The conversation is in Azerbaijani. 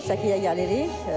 Şəkiyə gəlirik.